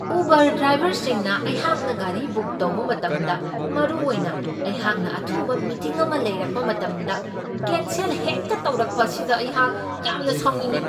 Uber ꯗ꯭ꯔꯥꯏꯕꯔꯁꯤꯡꯅ ꯑꯩꯍꯥꯛꯅ ꯒꯥꯔꯤ ꯕꯨꯛ ꯇꯧꯕ ꯃꯇꯝꯗ ꯃꯔꯨꯑꯣꯏꯅ ꯑꯩꯍꯥꯛꯅ ꯑꯊꯨꯕ ꯃꯤꯇꯤꯡ ꯑꯃ ꯂꯩꯔꯛꯄ ꯃꯇꯝꯗ ꯀꯦꯟꯁꯦꯜ ꯍꯦꯛꯇ ꯇꯧꯔꯛꯄ ꯑꯁꯤꯗ ꯑꯩꯍꯥꯛ ꯌꯥꯝꯅ ꯁꯥꯎꯅꯤꯡꯢ ꯫